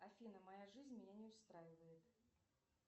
афина моя жизнь меня не устраивает